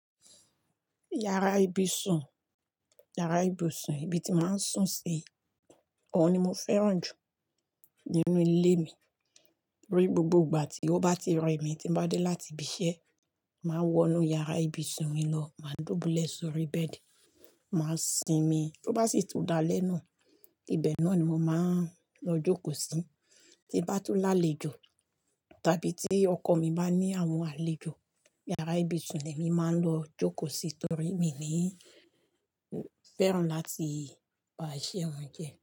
Yàrá ibùsùn, yàrá ibùsùn ibi tí máa ń sùn sí, òun ni mo fẹ́ràn jù nínú ilé mi. Ori gbogbo ìgbà tí ó bá ti rẹ mi tí bá dé láti ibi iṣẹ́, màá wọ inú yàrá ibùsùn mi lọ, máa dùbúlẹ̀ sórí bẹ́ẹ̀dì, màá sinmi. Tó bá sì tún dalẹ́, ibẹ̀ náà ni mo máa ń lọ jókòó sí. Tí bá tún lálejò tàbí tí ọkọ̀ mi bá ní àwọn àlejò, yàrá ibùsùn ní èmi máa ń lọ jókòó sí torí mi ni ń fẹ́ràn láti ba àìṣẹ́ wọn jẹ́.